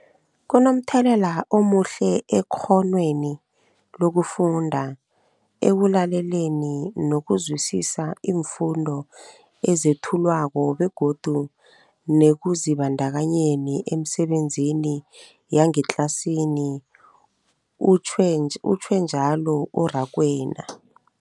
Kunomthelela omuhle ekghonweni lokufunda, ekulaleleni nokuzwisiswa iimfundo ezethulwako begodu nekuzibandakanyeni emisebenzini yangetlasini, utjhwe njalo u-Rakwena.